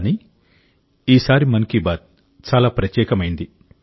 కానీ ఈసారి మన్ కీ బాత్ చాలా ప్రత్యేకమైంది